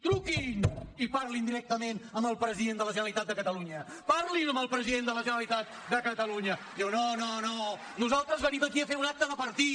truquin i parlin directament amb el president de la generalitat de catalunya parlin amb el president de la generalitat de catalunya diu no no no nosaltres venim aquí a fer un acte de partit